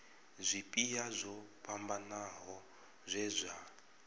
zwipia zwo fhambanaho zwe zwa